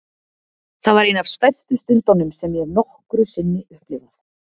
Það var ein af stærstu stundunum sem ég hef nokkru sinni upplifað.